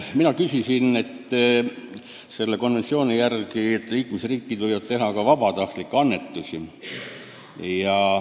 Mina küsisin veel selle kohta, et konventsiooni järgi võivad liikmesriigid teha vabatahtlikke annetusi.